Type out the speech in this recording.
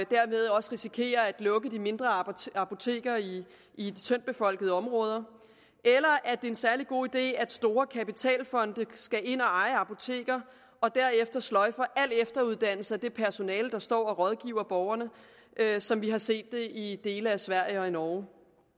derved også risikerer at lukke de mindre apoteker apoteker i tyndt befolkede områder eller at det er en særlig god idé at store kapitalfonde skal ind og eje apoteker og derefter sløjfer al efteruddannelse af det personale der står og rådgiver borgerne som vi har set det i dele af sverige og i norge